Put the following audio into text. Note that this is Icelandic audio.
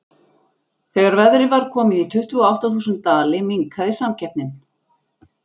Þegar verðið var komið í tuttugu og átta þúsund dali minnkaði samkeppnin.